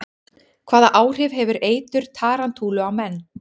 Hvaða áhrif hefur eitur tarantúlu á menn?